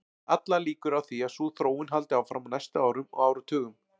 Allar líkur eru á því að sú þróun haldi áfram á næstu árum og áratugum.